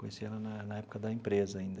Conheci ela na na época da empresa ainda.